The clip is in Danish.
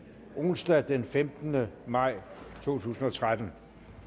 onsdag den femtende maj to tusind og tretten